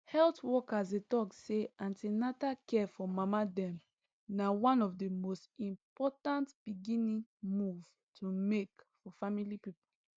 health workers dey talk say an ten atal care for mama dem na one of the the most important beginning move to make for family people